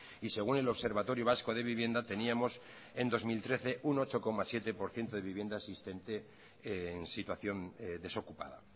y según el observatorio vasco de vivienda teníamos en dos mil trece un ocho coma siete por ciento de vivienda existente en situación desocupada